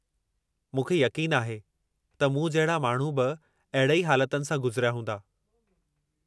मूंखे यक़ीन आहे त मूं जहिड़ा माण्हूनि खे बि अहिड़े ई हालातनि सां गुज़रिया हूंदा।